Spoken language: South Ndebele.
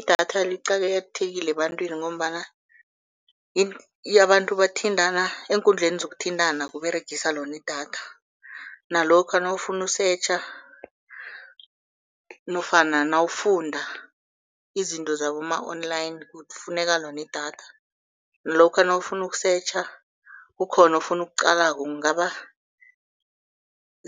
Idatha liqakathekile ebantwini ngombana abantu bathintana eenkundleni zokuthintana kUberegiswa lona idatha. Nalokha nawufuna ukusetjha nofana nawufunda izinto zaboma-online, kufuneka lona idatha, nalokha nawufuna ukusetjha, kukhona ofuna ukuqalako, kungaba